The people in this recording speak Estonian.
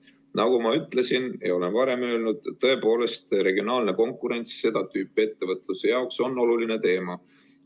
Nagu ma ütlesin ja olen varem öelnud, tõepoolest, regionaalne konkurents on seda tüüpi ettevõtluse jaoks oluline teema.